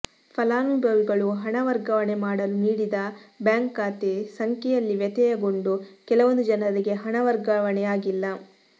ಫಲಾನುಭವಿಗಳು ಹಣ ವರ್ಗಾವಣೆ ಮಾಡಲು ನೀಡಿದ ಬ್ಯಾಂಕ್ ಖಾತೆ ಸಂಖ್ಯೆಯಲ್ಲಿ ವ್ಯತ್ಯಯಗೊಂಡು ಕೆಲವೊಂದು ಜನರಿಗೆ ಹಣ ವರ್ಗಾವಣೆಯಾಗಿಲ್ಲ